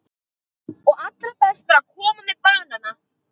Og allra best var að koma með banana.